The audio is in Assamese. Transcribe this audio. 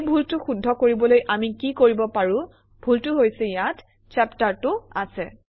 এই ভুলটো শুদ্ধ কৰিবলৈ আমি কি কৰিব পাৰোঁ - ভুলটো হৈছে ইয়াত চেপ্টাৰটো আছে